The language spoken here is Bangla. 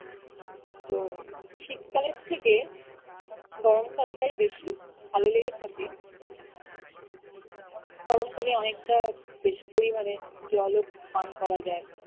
তো শীতকালের থেকে গরমকাল তাই বেশি ভালো লেগে থাকে গরমকালে অনেকটা বেশি পরিমানে জল ও পান করা যায়